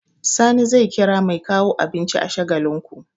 Sani zai kira mai kawo abinci a Shagalinku.